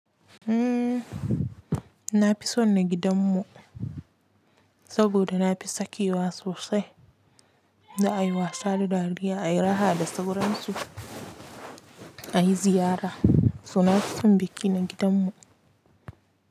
Umm, na fi son na gidanmu saboda na fi sakewa sosai da ai wasa da dariya, ai raha da sauran su a yi ziyara. So na fi son biki na gidanmu.